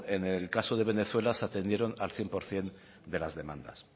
en el caso de venezuela se atendieron al cien por ciento de las demandas